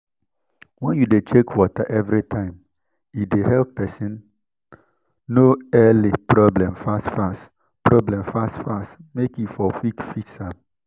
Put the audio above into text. when you de check water everytime e de help person know early problem fast fast problem fast fast make e for fit quick fix am